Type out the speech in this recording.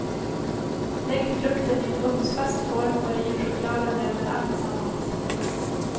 Lägg frukten i en ugnsfast form och riv chokladen över alltsammans.